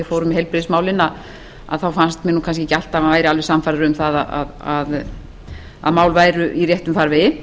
fórum með heilbrigðismálin þá fannst mér kannski ekki alltaf að hann væri alveg sannfærður um að mál væru í réttum farvegi